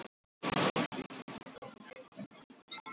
Spöngin hrynur undan okkur og hestunum, sagði síra Sigurður.